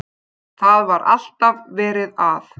Það var alltaf verið að.